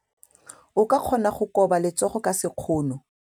O ka kgona go koba letsogo ka sekgono.